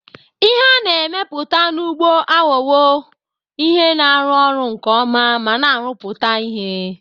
Ihe a na-emepụta n'ugbo aghọwo ihe na-arụ ọrụ nke ọma ma na-arụpụta ihe.